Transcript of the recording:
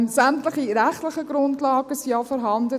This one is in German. Sämtliche rechtlichen Grundlagen sind auch vorhanden.